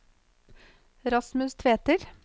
Rasmus Tveter